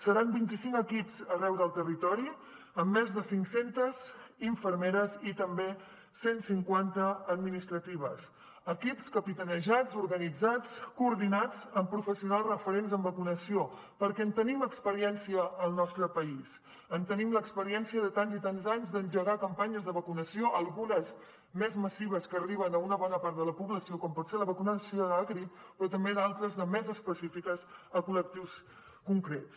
seran vint i cinc equips arreu del territori amb més de cinc centes infermeres i també cent cinquanta administratives equips capitanejats organitzats coordinats amb professionals referents en vacunació perquè en tenim experiència al nostre país en tenim l’experiència de tants i tants anys d’engegar campanyes de vacunació algunes més massives que arriben a una bona part de la població com pot ser la vacunació de la grip però també d’altres de més específiques a col·lectius concrets